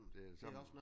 Det det samme